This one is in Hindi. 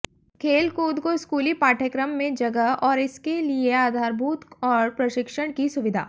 खेल कूद को स्कूली पाठ्यक्रम में जगह और इसके लिए आधारभूत और प्रशिक्षण की सुविधा